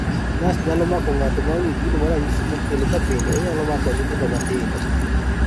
NASH nyalo mako ng'ato maonge gino maranyisi mokelo ka bende onyalo mako nyithindo matindo